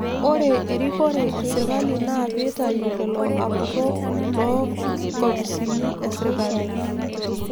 Ore erikore esirkali naa piitayu lelo apurrok loonkopisini esirkali